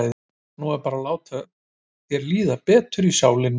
Hún er bara til að láta þér líða betur í sálinni.